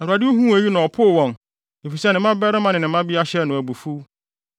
Awurade huu eyi na ɔpoo wɔn efisɛ ne mmabarima ne ne mmabea hyɛɛ no abufuw.